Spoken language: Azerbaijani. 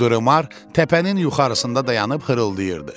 Duremar təpənin yuxarısında dayanib xırıldayırdı.